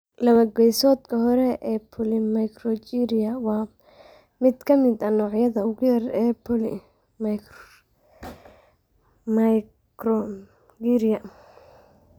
Laba-geesoodka hore ee polymicrogyria waa mid ka mid ah noocyada ugu yar ee polymicrogyria.